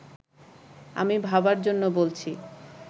আমি ভাবার জন্য বলছি